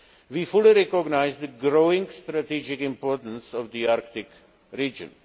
We fully recognise the growing strategic importance of the Arctic region.